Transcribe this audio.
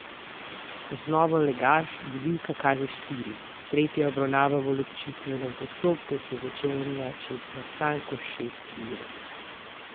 Ko znova legaš, budilka kaže štiri, tretja obravnava v ločitvenem postopku se začenja čez natanko šest ur.